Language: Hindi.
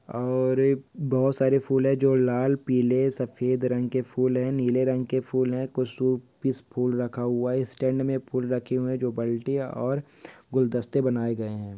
और एक बहोत सारे फूल है जो लाल पीले शफेद रंग के फूल हैं नीले रंग के फूल हैं कुछ पीस फूल रखा हुआ है स्टेंड में फूल रखे हुए है जो बल्तिया और गुलदश्ते बनाये गए है।